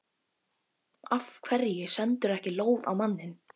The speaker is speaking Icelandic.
Af hverju sendirðu ekki lóð á manninn?